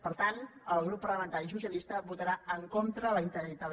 per tant el grup parlamentari socialista votarà en contra de la integralit